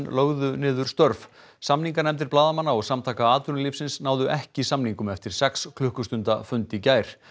lögðu niður störf samninganefndir blaðamanna og Samtaka atvinnulífsins náðu ekki samningum eftir sex klukkustunda fund í gær